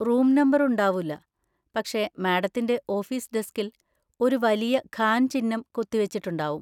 Room number ഉണ്ടാവൂല, പക്ഷെ മാഡത്തിൻ്റെ ഓഫീസ് ഡെസ്കിൽ ഒരു വലിയ ഖാൻ ചിഹ്നം കൊത്തിവെച്ചിട്ടുണ്ടാവും.